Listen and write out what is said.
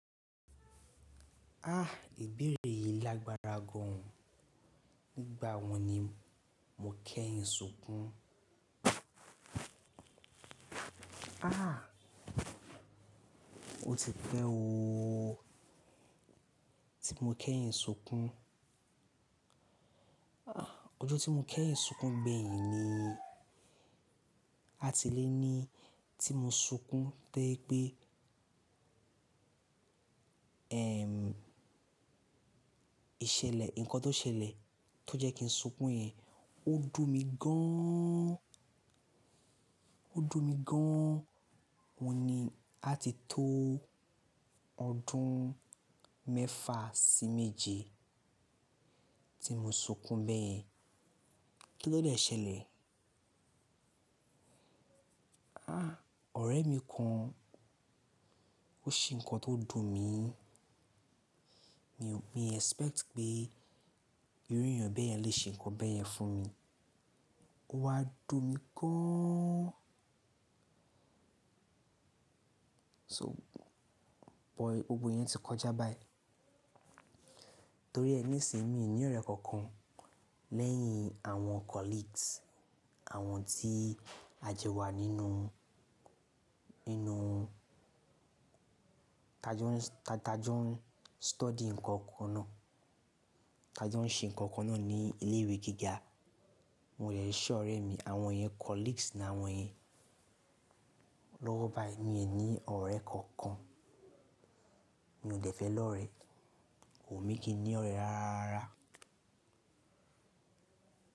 Ah, ìbéèrè yìí lágbára gan. Nígbà wọ́n ni mo kẹ́yìn sunkún? Ah, ó ti pẹ́ oo. Tí mo kẹ́yìn sunkún. Ah, ọjọ́ tí mo kẹ́yìn sunkún gbeyin ni. Àti lé ní tí mo sunkún tẹ́ pé, ìṣẹ̀lẹ̀, ǹkan tó ṣẹlẹ̀ tó jẹ́ kí n sunkún yẹn ó dùn mi gán. Ó dùn mi gán wọ̀ ní àti tó ọdún mẹ́fà sí méje tí mo sunkún beyen. Kí ló dẹ ṣẹlẹ̀? Ah, ọ̀rẹ́ mi kan ó ṣe ǹkan tó dùn mi. Mi o mi expect pé irú èèyàn bẹ́ẹ̀yẹn lè ṣe ǹkan bẹ́ẹ̀yẹn fún mi. Ó wá dùn mi gán. So, bọ, gbogbo iyen ti kọjá báyìí. Torí ẹ ní ìsinyi mi ní ọ̀rẹ́ kankan lẹ́yìn àwọn colleagues, àwọn tí a jo wà nínú, nínú, t'a jọ n s-- t'a jọ n study ǹkan kan náà, t'a jọ n ṣe ǹkan kan náà ní ilé ìwé gíga. Won deki ṣọ ọ̀rẹ́ mi, àwọn yẹn colleagues ni àwọn yẹn. Lọ́wọ́ báyìí míi ní ọ̀rẹ́ kankan. Mi ò dẹ́fẹ́ lọ́rẹẹ́. Ko wunmí kí n ní ọ̀rẹ́ rárá.